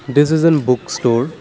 it is in book store.